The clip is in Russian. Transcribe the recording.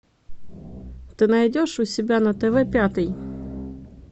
ты найдешь у себя на тв пятый